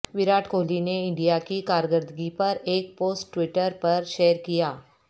وراٹ کوہلی نے انڈیا کی کاکردگی پر ایک پوسٹ ٹویٹر پر شیر کیا